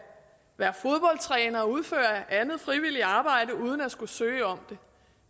være fodboldtræner og udføre andet frivilligt arbejde uden at skulle søge om